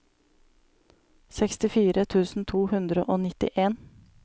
sekstifire tusen to hundre og nittien